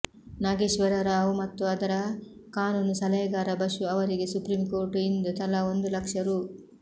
ನಾಗೇಶ್ವರರರಾವ್ ಮತ್ತು ಅದರ ಕಾನೂನು ಸಲಹೆಗಾರ ಬಶು ಅವರಿಗೆ ಸುಪ್ರೀಂಕೋರ್ಟ್ ಇಂದು ತಲಾ ಒಂದು ಲಕ್ಷ ರೂ